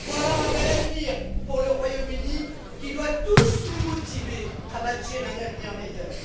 Voilà un bel avenir pour le Royaume Uni, qui doit tous nous motiver à bâtir un avenir meilleur!